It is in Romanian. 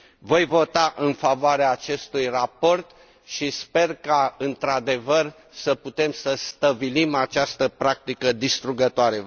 Voi vota în favoarea acestui raport și sper ca într adevăr să putem să stăvilim această practică distrugătoare.